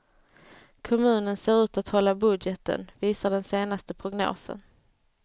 Kommunen ser ut att hålla budgeten, visar den senaste prognosen.